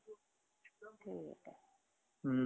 हुं